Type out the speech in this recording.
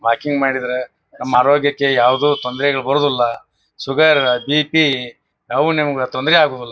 Walking ಮಾಡಿದ್ರೆ ನಮ್ ಆರೋಗ್ಯಕ್ ಯಾವುದು ತೊಂದ್ರೆಗಳು ಬರೋದಿಲ್ಲ. ಶುಗರ್ ಬಿ.ಪಿ ಯಾವ್ದು ನಿಮಗೆ ತೊಂದ್ರೆ ಆಗುವಲ್ಲ.